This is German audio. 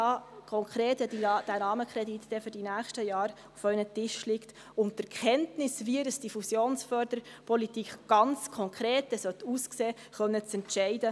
Wenn dieser Rahmenkredit dann für die nächsten Jahre konkret auf Ihren Tischen liegt und Sie Kenntnis haben, wie diese Fusionsförderpolitik ganz konkret aussehen soll, werden Sie die Freiheit haben, darüber zu entscheiden.